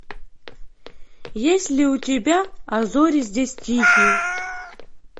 есть ли у тебя а зори здесь тихие